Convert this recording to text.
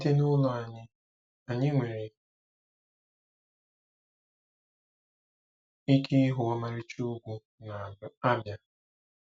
Site n'ụlọ anyị, anyị nwere ike ịhụ ọmarịcha ugwu n'Abia.